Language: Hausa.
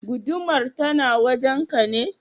Gudumar tana wajen ka ne?